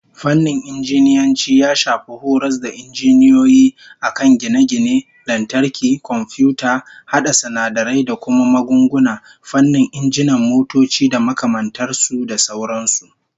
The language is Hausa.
Fannin Injiniyanci ya shafi horas da injiniyoyi a kan gine-gine, lantarki, komfiyuta, hada sinadarai da kuma magunguna, fannin injinan motoci da makamantar su, da sauran su